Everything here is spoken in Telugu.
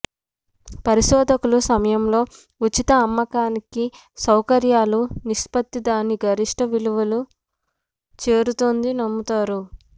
పరిశోధకులు సమయంలో ఉచిత అమ్మకానికి సౌకర్యాలు నిష్పత్తి దాని గరిష్ట విలువ చేరుతుంది నమ్ముతారు